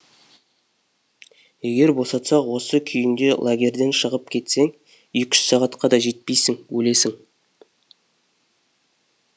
егер босатсақ осы күйіңде лагерден шығып кетсең екі үш сағатқа да жетпейсің өлесің